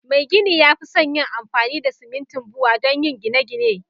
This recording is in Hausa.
Mai gini ya fi son yin amfani da simintin Bua donyi gine gine